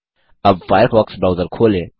अब Firefox browser खोलें